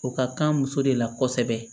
O ka kan muso de la kosɛbɛ